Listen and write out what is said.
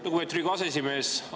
Lugupeetud Riigikogu aseesimees!